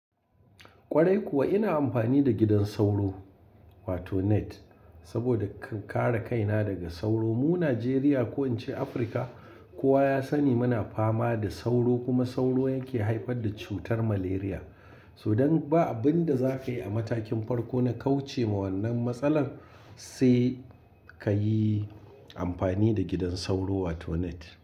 Kwarai kuwa ina amfani da gidan sauro wato net saboda ka kare kaina daga sauro. Mu Najeriya ko in ce Afirka kowa ya sani muna fama da sauro kuma sauro yake haifar da cutar Malaria. To dan ba abin da za ka yi a matakin farko na kauce ma wannan matsalar sai ka yi amfani da gidan sauro wato net.